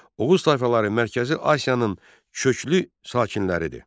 Oğuz tayfaları Mərkəzi Asiyanın köklü sakinləridir.